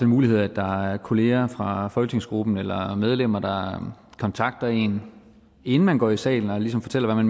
mulighed at der er kollegaer fra folketingsgruppen eller medlemmer der kontakter en inden man går i salen og ligesom fortæller hvad